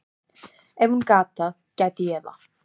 Ef hún gat það, gæti ég það.